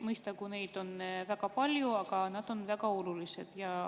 Mõistagi, neid on väga palju, aga nad on väga olulised.